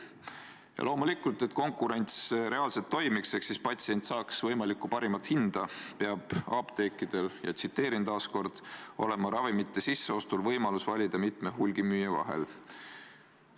Ja loomulikult, et konkurents reaalselt toimiks ehk siis patsient saaks ravimeid võimalikult parima hinna eest, peab apteekidel – tsiteerin taas – "olema ravimite sisseostul võimalus valida mitme hulgimüüja vahel".